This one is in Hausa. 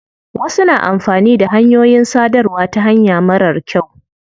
Wasu na amfani da hanyoyin sadarwa ta hanya marar kyau.